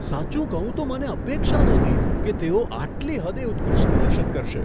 સાચું કહું તો મને અપેક્ષા નહોતી કે તેઓ આટલી હદે ઉત્કૃષ્ટ પ્રદર્શન કરશે.